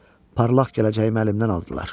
Parlaq gələcəyimi əlimdən aldılar.